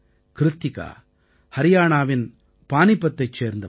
கிருத்திகா ஹரியாணாவின் பானீபத்தைச் சேர்ந்தவர்